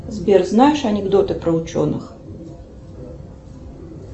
сбер знаешь анекдоты про ученых